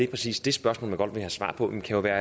præcis de spørgsmål man godt vil have svar på kan jo være